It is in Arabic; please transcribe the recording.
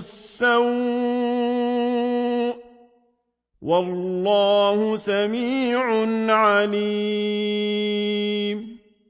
السَّوْءِ ۗ وَاللَّهُ سَمِيعٌ عَلِيمٌ